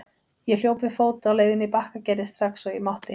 Ég hljóp við fót á leiðinni í Bakkagerði strax og ég mátti.